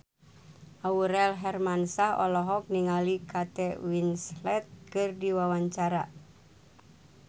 Aurel Hermansyah olohok ningali Kate Winslet keur diwawancara